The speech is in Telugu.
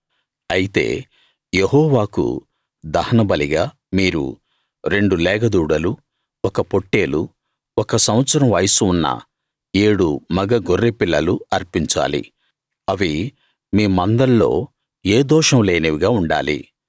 అయితే యెహోవాకు దహనబలిగా మీరు రెండు లేగదూడలు ఒక పొట్టేలు ఒక సంవత్సరం వయస్సు ఉన్న ఏడు మగ గొర్రెపిల్లలు అర్పించాలి అవి మీ మందల్లో ఏ దోషం లేనివిగా ఉండాలి